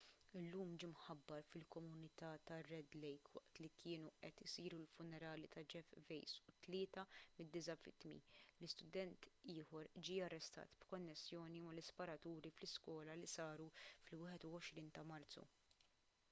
illum ġie mħabbar fil-komunità tar-red lake waqt kienu qed isiru l-funerali ta' jeff weise u tlieta mid-disa' vittmi li student ieħor ġie arrestat b'konnessjoni mal-isparaturi fl-iskola li saru fil-21 ta' marzu